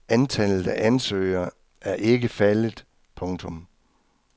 Antallet af ansøgere er ikke faldet. punktum